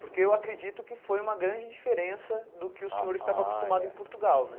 Porque eu acredito que foi uma grande diferença do que o senhor estava acostumado em Portugal, né? Ah é